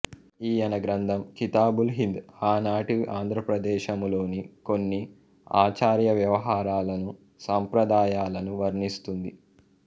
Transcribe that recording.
ఈయన గ్రంథం కితాబుల్ హింద్ ఆనాటి ఆంధ్రదేశములోని కొన్ని ఆచారవ్యవహారాలను సంప్రదాయాలను వర్ణిస్తుంది